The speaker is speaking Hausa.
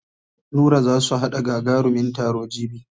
Nura za su haɗa gagarumin taro jibi.